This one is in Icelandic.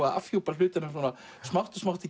að afhjúpa hlutina smátt og smátt